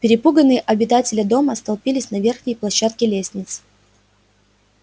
перепуганные обитатели дома столпились на верхней площадке лестницы